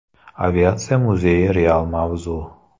Aviatsiya muzeyi real mavzu.